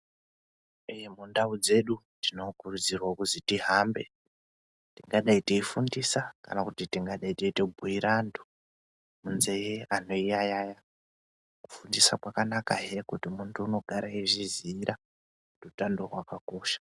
Ee mundau dzedu tinokurudzirwa kuzi tihambe tingadai teifundise kana kuti tingadai teitobhuire antu munzee antu eyi yayaya kufundisa kwakanaka he kuti muntu unogara eizviziira utano hwakakosha.